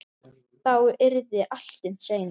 Þá yrði allt um seinan.